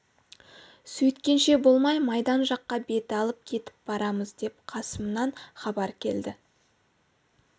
сөйткенше болмай майдан жаққа бет алып кетіп барамыз деп қасымнан хабар келді